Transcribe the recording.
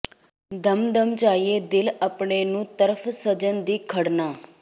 ਦਮ ਦਮ ਚਾਹੀਏ ਦਿਲ ਅਪਣੇ ਨੂੰ ਤਰਫ਼ ਸਜਨ ਦੀ ਖੜਨਾ